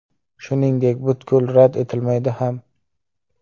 Shuningdek, butkul rad etilmaydi ham.